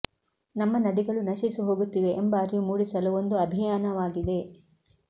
ನಮ್ಮ ನದಿಗಳು ನಶಿಸಿ ಹೋಗುತ್ತಿವೆ ಎಂಬ ಅರಿವು ಮೂಡಿಸಲು ಒಂದು ಅಭಿಯಾನವಾಗಿದೆ